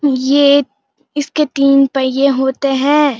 ये एक इसके तीन पहिये होते हैं।